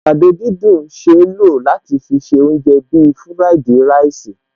Àgbàdo dídùn ṣeé lò láti fi se oúnjẹ bíi fúráìdì ráìsì